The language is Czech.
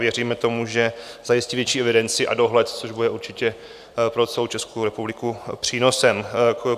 Věříme tomu, že zajistí větší evidenci a dohled, což bude určitě pro celou Českou republiku přínosem.